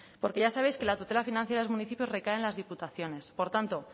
porque ya sabéis que la tutela financiera de los municipios recae en las diputaciones por tanto